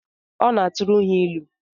Ọ na-aturu ha ilu?